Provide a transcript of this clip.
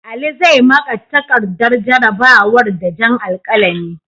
Ali zai maƙa takardar jarrabawa da jan alkalami.